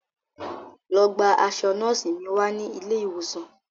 Lọ gba aṣọ nọ́ọ̀sì mi wá ní ilé ìwòsàn